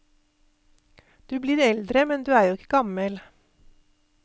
Du blir eldre, men du er jo ikke gammel.